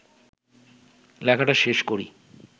লেখাটা শেষ করি